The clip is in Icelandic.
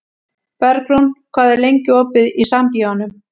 Bergrún, hvað er lengi opið í Sambíóunum?